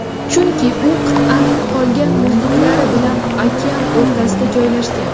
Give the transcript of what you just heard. Chunki u qit’aning qolgan muzliklari bilan okean o‘rtasida joylashgan.